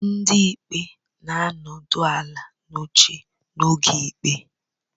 Ndị ikpe na-anọdụ ala n'oche n'oge ikpe